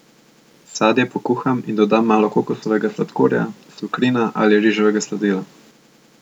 Sadje pokuham in dodam malo kokosovega sladkorja, sukrina ali riževega sladila.